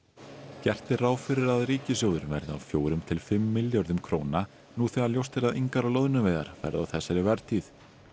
gert er ráð fyrir að ríkissjóður verði af fjórum til fimm milljörðum króna nú þegar ljóst er að engar loðnuveiðar verða á þessari vertíð